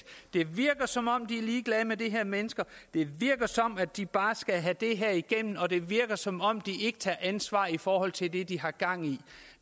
det virker som om de er ligeglade med de her mennesker det virker som om de bare skal have det her igennem og det virker som om de ikke tager ansvar i forhold til det de har gang i